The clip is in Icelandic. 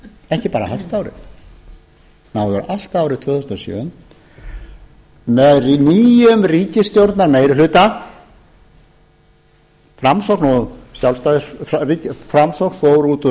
ekki bara hálft árið ná yfir allt árið tvö þúsund og sjö með nýjum ríkisstjórnarmeirihluta framsókn fór út úr